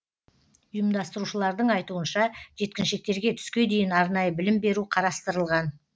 ұйымдастырушылардың айтуынша жеткіншектерге түске дейін арнайы білім беру қарастырылған